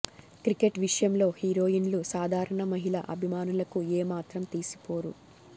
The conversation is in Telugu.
క్రికెట్ విషయంలో హీరోయిన్లు సాధారణ మహిళా అభిమానులకు ఏ మాత్రం తీసిపోరు